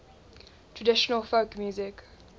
traditional folk music